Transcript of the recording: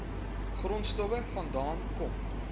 grondstowwe vandaan kom